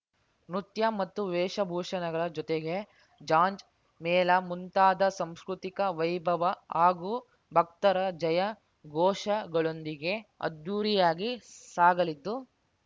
ನೃತ್ಯ ಮತ್ತು ವೇಷಭೂಷಣಗಳ ಜೊತೆಗೆ ಜಾಂಜ್ ಮೇಳ ಮುಂತಾದ ಸಾಂಸ್ಕೃತಿಕ ವೈಭವ ಹಾಗೂ ಭಕ್ತರ ಜಯ ಘೋಷಗಳೊಂದಿಗೆ ಅದ್ದೂರಿಯಾಗಿ ಸಾಗಲಿದ್ದು